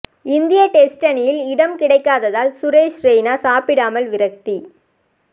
இந்திய டெஸ்ட் அணியில் இடம் கிடைக்காததால் சுரேஷ் ரெய்னா சாப்பிடாமல் விரக்தி